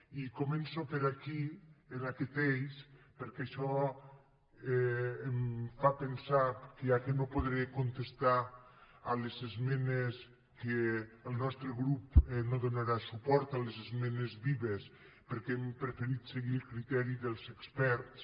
i començo per aquí en aquest eix perquè això em fa pensar que ja que no podré contestar les esmenes a què el nostre grup no donarà suport les esmenes vives perquè hem preferit seguir el criteri dels experts